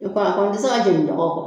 Ne ko a ma o bɛ se ka jeni mɔgɔ kɔ.